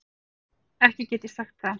Ekki get ég sagt það.